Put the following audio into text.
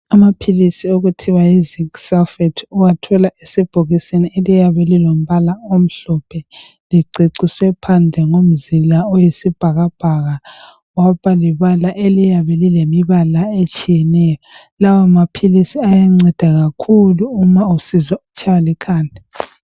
Amaphilisi okuthiwa yi zinc sulphate uwathola esebhokisini eliyabe lilombala omhlophe liceciswe phandle ngomzila oyisibhakabhaka kwaba lebala eliyabe lilembala etshiyeneyo lawa maphilisi ayanceda kakhulu uma usizwa utshaywa likhanda